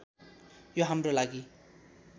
यो हाम्रो लागि